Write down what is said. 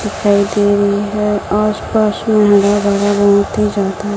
दिखाई दे रही है आस पास में हरा भरा बहुत ही ज्यादा--